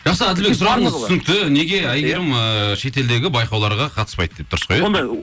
жақсы әділбек сұрағыңыз түсінікті неге әйгерім ыыы шетелдегі байқауларға қатыспайды деп дұрыс қой иә